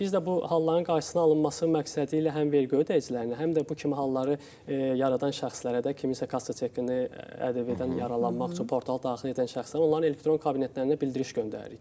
Yəni biz də bu halların qarşısının alınması məqsədilə həm vergi ödəyicilərinə, həm də bu kimi halları yaradan şəxslərə də kiminsə kassa çekini ƏDV-dən yaralanmaq üçün portala daxil edən şəxslər, onların elektron kabinetlərinə bildiriş göndəririk.